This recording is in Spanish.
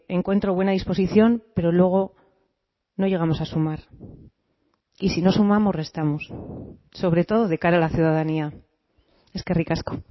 encuentro buena disposición pero luego no llegamos a sumar y si no sumamos restamos sobre todo de cara a la ciudadanía eskerrik asko